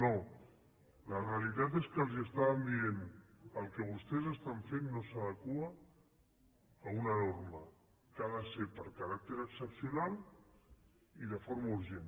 no la realitat és que els estàvem dient el que vostès estan fent no s’adequa a una norma que ha de ser per caràcter excepcional i de forma urgent